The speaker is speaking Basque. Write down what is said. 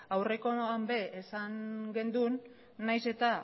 aurrekoan ere esan genuen nahiz eta